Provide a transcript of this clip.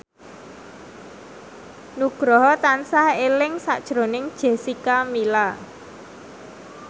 Nugroho tansah eling sakjroning Jessica Milla